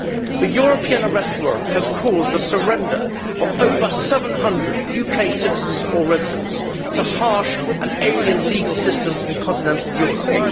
The European Arrest Warrant has caused the surrender of over 700 UK citizens or residents to harsh and alien legal systems in continental Europe.